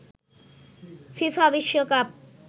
FIFA বিশ্বকাপ